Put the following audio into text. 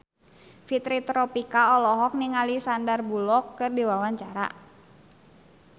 Fitri Tropika olohok ningali Sandar Bullock keur diwawancara